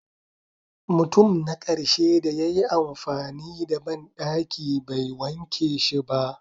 Mutum na karshe da ya yi amfani da bandaki bai wanke shi ba.